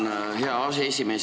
Tänan, hea aseesimees!